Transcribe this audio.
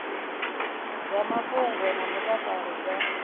dza mafhungo na mutakalo dza